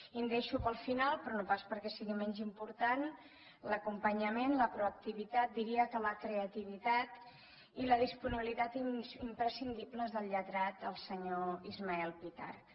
i em deixo per al final però no pas perquè sigui menys important l’acompanyament la proactivitat diria que la creativitat i la disponibilitat imprescindibles del lletrat el senyor ismael pitarch